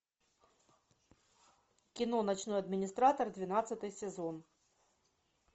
кино ночной администратор двенадцатый сезон